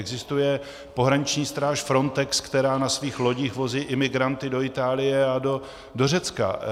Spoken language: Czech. Existuje pohraniční stráž Frontex, která na svých lodích vozí imigranty do Itálie a do Řecka.